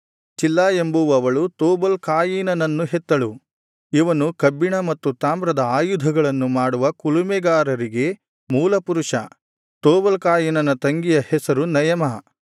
ಚಿಲ್ಲಾ ಎಂಬುವವಳು ತೂಬಲ್ ಕಾಯಿನನನ್ನು ಹೆತ್ತಳು ಇವನು ಕಬ್ಬಿಣ ಮತ್ತು ತಾಮ್ರದ ಆಯುಧಗಳನ್ನು ಮಾಡುವ ಕುಲುಮೆಗಾರರಿಗೆ ಮೂಲ ಪುರುಷ ತೂಬಲ್ ಕಾಯಿನನ ತಂಗಿಯ ಹೆಸರು ನಯಮಾ